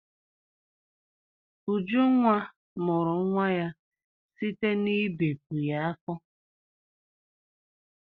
Ujunwa mụrụ nwa ya site n'ibepu ya afọ.